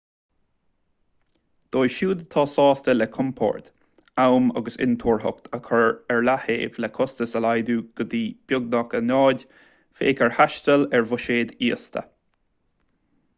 dóibh siúd atá sásta le compord am agus intuarthacht a chur ar leataobh le costais a laghdú go dtí beagnach a náid féach ar thaisteal ar bhuiséad íosta